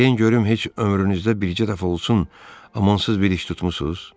Deyin görüm heç ömrünüzdə bircə dəfə olsun amansız bir iş tutmusunuz?